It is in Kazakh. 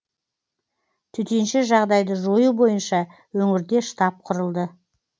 төтенше жағдайды жою бойынша өңірде штаб құрылды